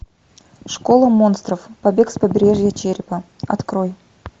школа монстров побег с побережья черепа открой